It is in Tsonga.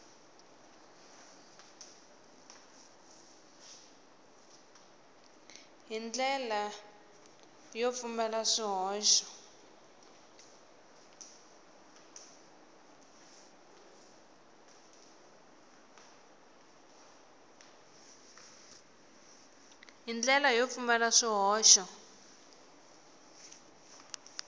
hi ndlela yo pfumala swihoxo